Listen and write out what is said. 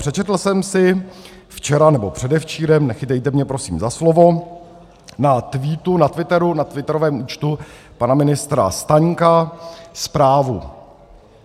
Přečetl jsem si včera, nebo předevčírem, nechytejte mě prosím za slovo, na Twitteru, na twitterovém účtu pana ministra Staňka, zprávu.